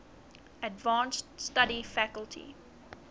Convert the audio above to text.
advanced study faculty